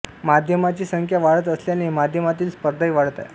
माध्यमांची संख्या वाढत असल्याने माध्यमातील स्पर्धाही वाढत आहे